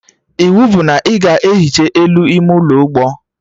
Iwu bụ na ị ga ehicha elu ime ụlọ ụgbọ